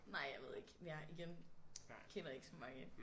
Nej jeg ved ikke jeg igen kender ikke så mange